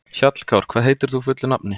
Hjallkár, hvað heitir þú fullu nafni?